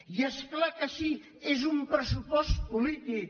i és clar que sí és un pressupost polític